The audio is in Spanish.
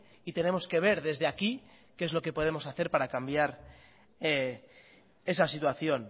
y tenemos que ver desde aquí qué es lo que podemos hacer para cambiar esa situación